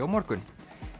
á morgun